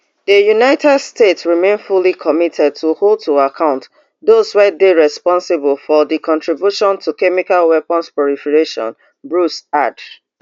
di united states remain fully committed to hold to account those wey dey responsible for for di contribution to chemical weapons proliferation bruce add